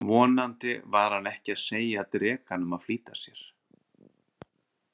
Vonandi var hann ekki að segja drekanum að flýta sér.